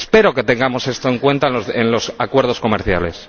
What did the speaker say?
Espero que tengamos esto en cuenta en los acuerdos comerciales.